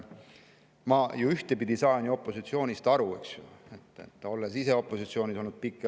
Ma ju ühtpidi saan opositsioonist aru, olles ise pikki aastaid opositsioonis olnud.